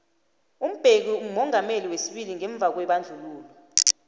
umbeki mumongameli wesibili ngemvakwebandlululo